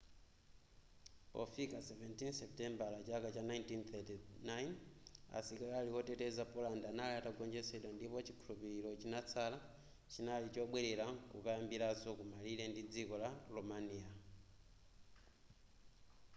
pofika 17 seputembala chaka cha 1939 asilikali oteteza poland anali atagonjetsedwa ndipo chikhulupiliro chinatsala chinali chobwelera nkukayambiraso ku malire ndi dziko la romania